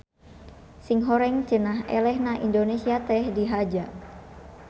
Singhoreng cenah elehna indonesia teh dihaja.